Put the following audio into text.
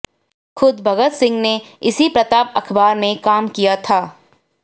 खुद भगत सिंह ने इसी प्रताप अखबार में काम किया था